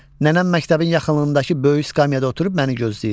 Nənəm məktəbin yaxınlığındakı böyük skamyada oturub məni gözləyir.